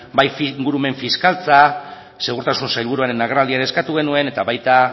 bai ingurumen fiskaltza segurtasun sailburuaren agerraldian eskatu genuen eta baita